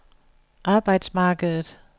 arbejdsmarkedet